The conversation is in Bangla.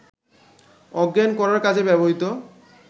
অজ্ঞান করার কাজে ব্যবহৃত